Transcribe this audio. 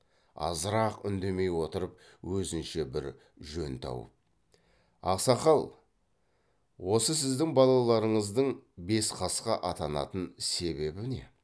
азырақ үндемей отырып өзінше бір жөн тауып ақсақал осы сіздің балаларыңыздың бес қасқа атанатын себебі не